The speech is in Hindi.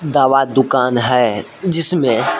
दवा दुकान है जिसमे--